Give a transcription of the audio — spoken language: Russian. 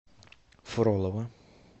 фролово